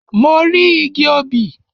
Mo rí igi obì.